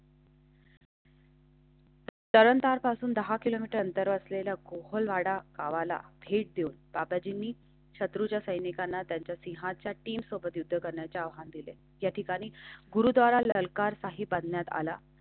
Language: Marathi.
तंरण तरपासून दहा किलोमीटर अंतरावर असलेला कोळवाडा गावाला भेट देऊन ताजी मी शत्रूच्या सैनिकांना त्यांच्याशी हाच्या तीन सोपत युद्ध करण्याचे आव्हान दिले. या ठिकाणी गुरुद्वारा ललकार साहिब बांधण्यात आला.